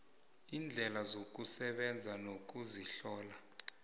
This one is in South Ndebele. iindleko zokusebenza nokuzihlola